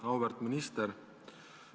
Auväärt minister!